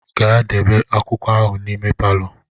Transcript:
Gaa debe akwụkwọ ahụ n'ime palọ.